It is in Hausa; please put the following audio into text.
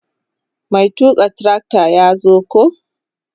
Mai tuka trakta ya zo ko.